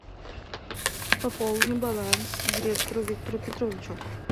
пополни баланс директору виктору петровичу